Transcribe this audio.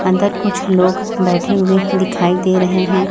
अंदर कुछ लोग बैठे हुए ही दिखाई दे रहे हैं।